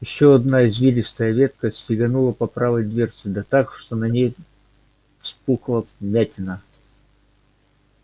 ещё одна извивистая ветка стеганула по правой дверце да так что на ней вспухла вмятина